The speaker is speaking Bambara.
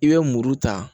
I bɛ muru ta